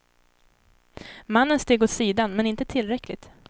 Mannen steg åt sidan men inte tillräckligt.